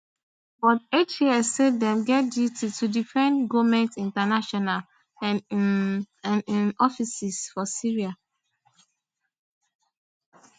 but hts say dem get duty to defend goment international and un and un offices for syria